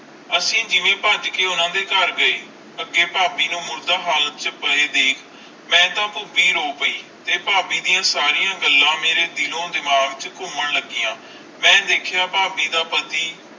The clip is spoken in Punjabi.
ਅਸੀਂ ਜਿਵੇ ਭੱਜ ਕੇ ਉਨ੍ਹਾਂ ਦੇ ਘਰ ਗਏ ਅਗੈ ਭਾਭੀ ਨੂੰ ਮੁਰਦਾ ਹਾਲਤ ਚ ਪੈ ਵੇਖ ਮੈਂ ਤਾ ਪੁਬੀ ਰੋ ਪੈ ਤੇ ਭਾਭੀ ਦੀਆ ਸਾਰੀ ਗੱਲਾਂ ਮੇਰੇ ਦਿਲ ਓ ਦਿਮਾਖ ਵਿਚ ਘੁੰਮਣ ਲੱਗਿਆ। ਮੈਂ ਦੇਖਿਆ ਭਾਭੀ ਦਾ ਪਤੀ